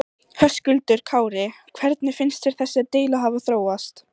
Höskuldur Kári: Hvernig finnst þér þessi deila hafa þróast?